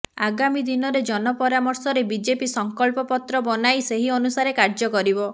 ଆଗାମୀଦିନରେ ଜନ ପରାମର୍ଶରେ ବିଜେପି ସଂକଳ୍ପ ପତ୍ର ବନାଇ ସେହି ଅନୁସାରେ କାର୍ଯ୍ୟ କରିବ